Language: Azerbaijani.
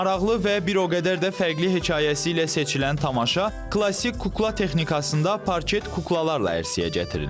Maraqlı və bir o qədər də fərqli hekayəsi ilə seçilən tamaşa klassik kukla texnikasında parket kuklalarla ərsəyə gətirilib.